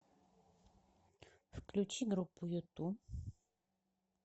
включи группу юту